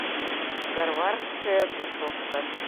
гарвардская тусовка